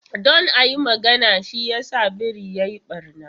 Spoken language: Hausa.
Don a yi magana, shi yasa biri ya yi ɓarna.